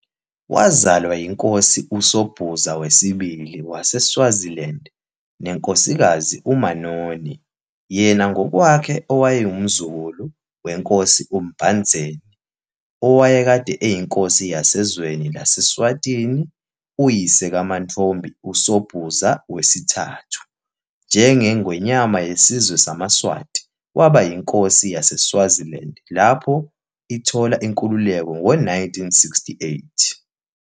Wazalwa yiNkosi USobhuza II waseSwaziland neNkosikazi uManoni, yena ngokwakhe owayengumzukulu weNkosi uMbandzeni, owayekade eyiNkosi yasezweni laseSwatini, uyise kaMantfombi uSobhuza III, njengeNgwenyama yesizwe samaSwati, waba yInkosi yaseSwaziland lapho ithola inkululeko ngo-1968.